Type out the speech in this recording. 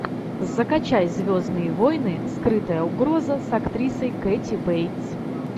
закачай звездные войны скрытая угроза с актрисой кэти бейтс